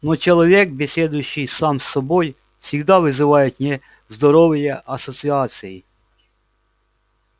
но человек беседующий сам с собой всегда вызывает нездоровые ассоциации